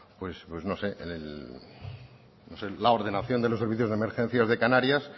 la ordenación de los servicios de emergencias de canarias